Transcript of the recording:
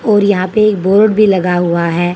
और यहां पे एक बोर्ड भी लगा हुआ है।